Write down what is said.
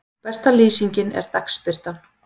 Besta lýsingin er dagsbirtan.